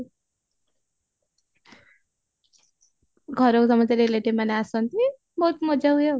ଘରକୁ ସମସ୍ତେ relative ମାନେ ଆସନ୍ତି ବହୁତ ମଜା ହୁଏ ଆଉ